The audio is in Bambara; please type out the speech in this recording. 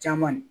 Caman de